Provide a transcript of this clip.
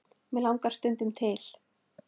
mig langar stundum til.